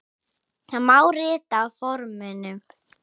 Það má rita á forminu